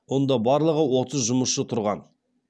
онда барлығы отыз жұмысшы тұрған